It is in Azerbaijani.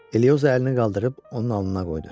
Elioza əlini qaldırıb, onun alnına qoydu.